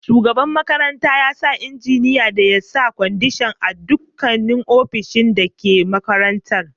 Shugaban makaranta ya umarci injiniya da ya sa kwandishan a dukkan ofishin da ke makarantan.